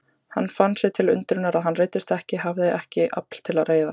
Hann fann sér til undrunar að hann reiddist ekki, hafði ekkert afl til að reiðast.